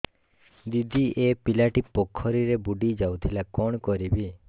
ଦିଦି ଏ ପିଲାଟି ପୋଖରୀରେ ବୁଡ଼ି ଯାଉଥିଲା କଣ କରିବି